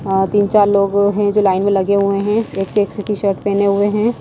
तीन-चार लोग हैंजो लाइन में लगे हुए हैं एक एक शर्ट पहने हुए हैं।